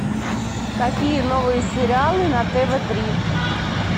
какие новые сериалы на тв три